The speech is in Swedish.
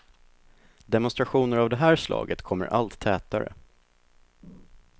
Demonstrationer av det här slaget kommer allt tätare.